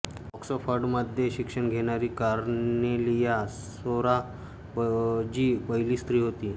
ऑक्सफर्डमध्ये शिक्षण घेणारी कार्नेलिया सोराबजी पहिली स्त्री होती